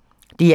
DR1